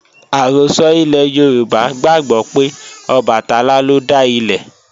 Àrọ́sọ ilẹ̀ Yorùbá gbàgbó pé Ọbàtálá lọ dá ilé